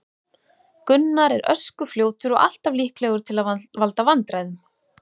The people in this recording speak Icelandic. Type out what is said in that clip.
Gunnar er ösku fljótur og alltaf líklegur til að valda vandræðum.